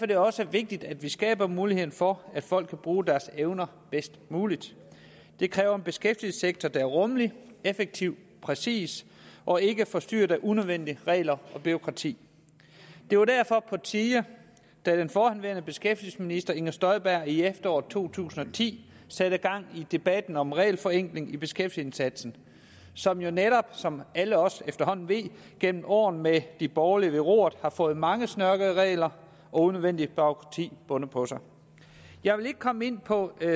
det også vigtigt at vi skaber muligheden for at folk kan bruge deres evner bedst muligt det kræver en beskæftigelsessektor der er rummelig effektiv præcis og ikke er forstyrret af unødvendige regler og bureaukrati det var derfor på tide da den forhenværende beskæftigelsesminister fru inger støjberg i efteråret to tusind og ti satte gang i debatten om regelforenkling i beskæftigelsesindsatsen som jo netop som alle os efterhånden ved gennem år med de borgerlige ved roret har fået mange snørklede regler og unødvendigt bureaukrati bundet på sig jeg vil ikke komme ind på